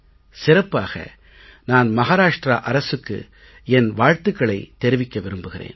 சிறப்பாக நான் மஹாராஷ்ட்ரா அரசுக்கு என் வாழ்த்துக்களைத் தெரிவிக்க விரும்புகிறேன்